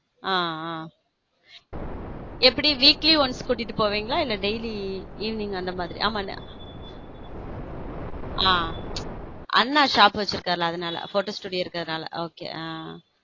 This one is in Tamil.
ஹம் ஹம் எப்பட weekly once கூட்டிட்டு போவீங்களா இல்ல daily evening அந்த மாதிரிஆமா ஹம் அண்ணா shop வச்சிருக்கார் இல்ல அதனா photo studio இருக்கு அதனால okay ஹம்